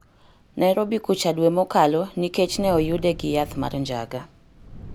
Nairobi kucha dwe mokalo nikech ne oyude gi yath mar njaga.